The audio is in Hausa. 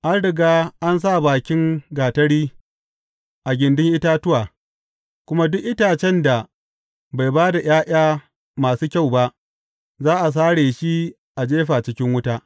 An riga an sa bakin gatari a gindin itatuwa, kuma duk itacen da bai ba da ’ya’ya masu kyau ba, za a sare shi a jefa cikin wuta.